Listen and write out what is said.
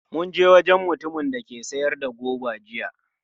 Mun je wajen mutumin da ke sayar da goba jiya.